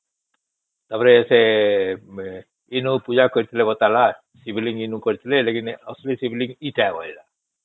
ତା ପରେ ସେ ଇନୁ ପୂଜା କଲେ ଇନୁ ଶିବ ଲିଙ୍ଗ ଇନୁ କରିଥିଲେ ଅସଲି ଶିବ ଲିଙ୍ଗ ଏଟା କହିଲା